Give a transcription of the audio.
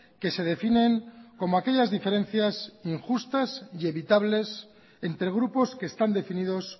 que se definen como aquellas diferencias injustas y evitables entre grupos que están definidos